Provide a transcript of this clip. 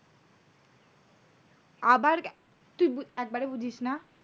আবার তুই একবারে বুঝিস না?